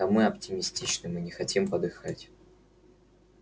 да мы оптимистичны мы не хотим подыхать